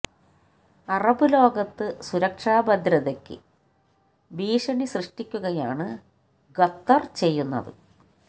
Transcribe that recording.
Arab ലോകത്ത് സുരക്ഷാ ഭദ്രതക്ക് ഭീഷണി സൃഷ്ടിക്കുകയാണ് ഖത്തർ ചെയ്യുന്നത്